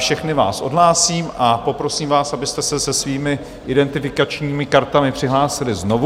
Všechny vás odhlásím a poprosím vás, abyste se svými identifikačními kartami přihlásili znovu.